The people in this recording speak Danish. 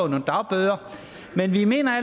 nogle dagbøder men vi mener